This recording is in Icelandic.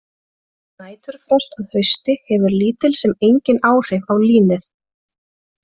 Næturfrost að hausti hefur lítil sem engin áhrif á línið.